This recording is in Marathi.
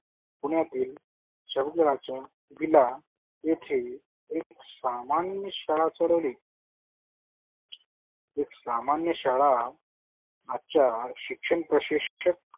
पुण्यातील दिला येथे एक सामान्य शाळा सोडवली एक सामान्य शाळा शिक्षण प्रशिक्षक